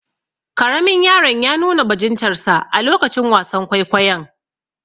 Karamin yaron ya nuna bajintarsa a lokacin wasan kwaikwayon.